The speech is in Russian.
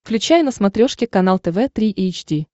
включай на смотрешке канал тв три эйч ди